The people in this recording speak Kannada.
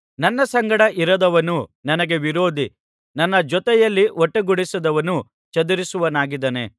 ನನ್ನ ಸಂಗಡ ಇರದವನು ನನಗೆ ವಿರೋಧಿ ನನ್ನ ಜೊತೆಯಲ್ಲಿ ಒಟ್ಟುಗೂಡಿಸದವನು ಚದುರಿಸುವವನಾಗಿದ್ದಾನೆ